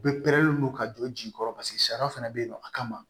U bɛ pɛrɛn don ka jɔ ji kɔrɔ paseke sariya fana bɛ yen nɔ a kama